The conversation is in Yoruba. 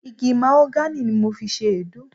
Igi Mahogany ni mo fi ṣe Èédú.